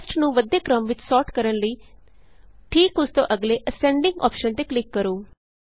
Costਨੂੰ ਵੱਧਦੇ ਕ੍ਰਮ ਵਿਚ ਸੋਰਟ ਕਰਨ ਲਈ ਠੀਕ ਉਸ ਤੋਂ ਅਗਲੇAscendingਅੋਪਸ਼ਨ ਤੇ ਕਲਿਕ ਕਰੋ